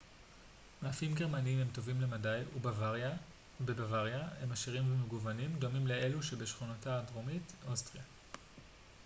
מאפים גרמניים הם טובים למדי ובבוואריה הם עשירים ומגוונים דומים לאלו בשכנתה הדרומית אוסטריה